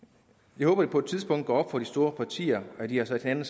jeg håber det på et tidspunkt går op for de store partier at de har sat hinanden